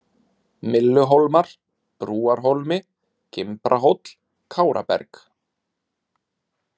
Mylluhólmar, Brúarhólmi, Gimbrahóll, Káraberg